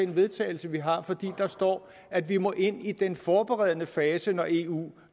vedtagelse vi har for der står at vi må ind i den forberedende fase når eu